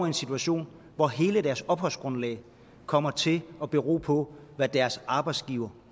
en situation hvor hele deres opholdsgrundlag kommer til at bero på hvad deres arbejdsgiver